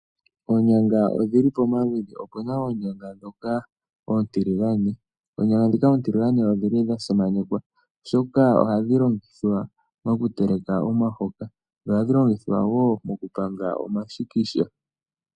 Oonyanga odhi li pamaludhi. Opu na oonyanga ndhoka oontiligane. Oonyanga ndhika odhi li dha simanekwa, oshoka oha dhi longithwa oku teleka omahoka, dho oha dhi longithwa wo oku panga omashikisha.